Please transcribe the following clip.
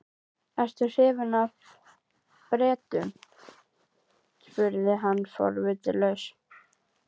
Hásetarnir sex bitu á jaxlinn og réru af öllum kröftum.